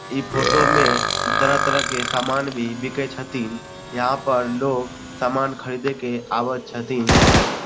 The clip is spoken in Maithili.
इ फोटो में तरह-तरह के सामना भी बीके छथीन यहां पर लोग समान खरीदे के आवे छथीन।